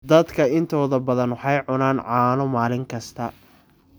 Dadka intooda badan waxay cunaan caano maalin kasta.